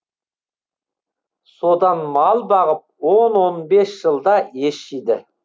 содан мал бағып он он бес жылда ес жиды